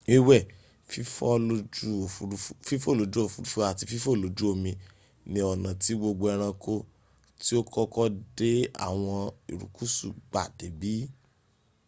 wiwẹ fifo loju ofurufu ati fifo loju omi ni ọna ti gbogbo ẹranko ti o koko de awọn irukusu gba debi